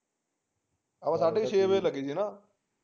ਆਪਾ ਸਾਡੇ ਕ ਛੇ ਵਜੇ ਲਗੇ ਸੀ ਨਾ